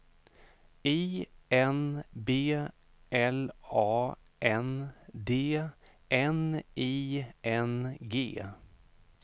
I N B L A N D N I N G